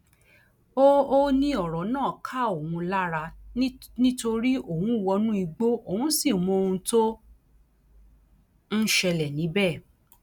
ó ó ní ọrọ náà ká òun lára ni nítorí òun wọnú igbó òun sì mọ ohun tó ń ṣẹlẹ níbẹ